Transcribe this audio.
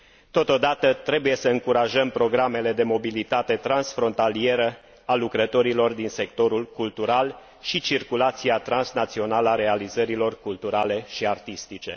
Totodată, trebuie să încurajăm programele de mobilitate transfrontalieră a lucrătorilor din sectorul cultural și circulația transnațională a realizărilor culturale și artistice.